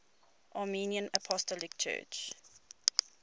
armenian apostolic church